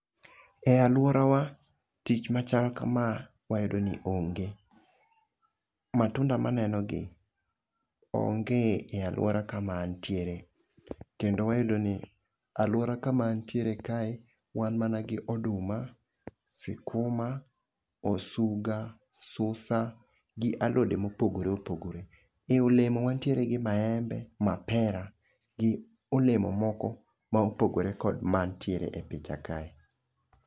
E aluorawa tich machal kama wayudo ni onge, matunda maneno gi onge e aluora kama antiere kendo wayudo ni aluora kama antiere kae wan mana gi oduma ,sikuma, osuga ,susa gi alode mopogore opogore. E olemo wantiere gi maembe, mapera gi olemo moko ma opogore kod mantie e picha kae.